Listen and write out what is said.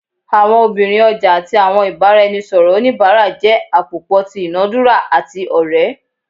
Awọn obirin ọja ati awọn ibaraẹnisọrọ onibara jẹ apopọ ti idunadura ati ore